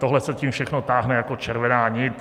Tohle se tím všechno táhne jako červená nit.